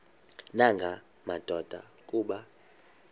nanga madoda kuba